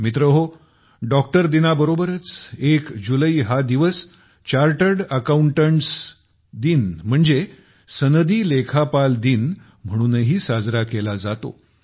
मित्रहो डॉक्टर दिनाबरोबरच 1 जुलै हा दिवस चार्टड अकाउंटड दिन म्हणजे सनदी लेखापाल दिन म्हणूनही साजरा केला जातो